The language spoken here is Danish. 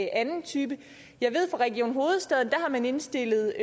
anden type jeg ved fra region hovedstaden at har man indstillet